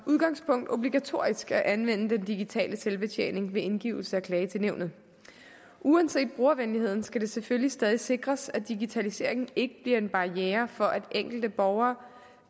udgangspunkt obligatorisk at anvende den digitale selvbetjening ved indgivelse af klage til nævnet uanset brugervenligheden skal det selvfølgelig stadig sikres at digitaliseringen ikke bliver en barriere for at enkelte borgere